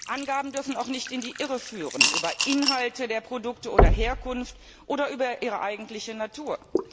Angaben dürfen auch nicht in die Irre führen über Inhalte der Produkte oder deren Herkunft oder über ihre eigentliche Natur.